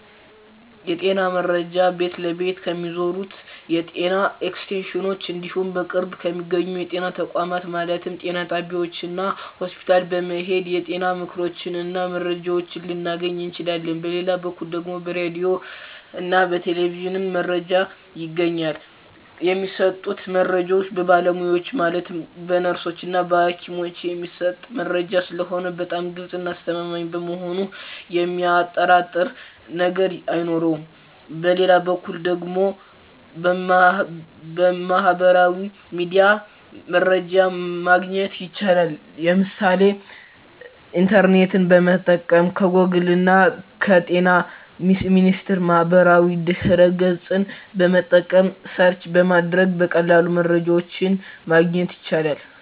የጤና መረጃ ቤት ለቤት ከሚዞሩት የጤና ኤክስቴንሽኖች እንዲሁም በቅርብ በሚገኙ የጤና ተቋማት ማለትም ጤና ጣቢያዎች እና ሆስፒታል በመሔድ የጤና ምክሮችን እና መረጃዎችን ልናገኝ እንችላለን በሌላ በኩል ደግሞ በራዲዮ እና በቴሌቪዥንም መረጃ ይገኛል የሚሰጡት መረጃዎች በባለሙያዎች ማለትም በነርሶች እና በሀኪሞች የሚሰጥ መረጂ ስለሆነ በጣም ግልፅ እና አስተማማኝ በመሆኑ የሚያጠራጥር ነገር አይኖረውም በሌላ በኩል ደግሞ በሚህበራዊ ሚዲያ መረጃ ማግኘት ይቻላል የምሳሌ ኢንተርኔትን በመጠቀም ከጎግል እና በጤና ሚኒስቴር ማህበራዊ ድህረ ገፅን በመጠቀም ሰርች በማድረግ በቀላሉ መረጃን ማግኘት ይቻላል።